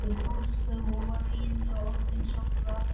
Áslaugu og var eiginlega orðin sátt við allt og alla.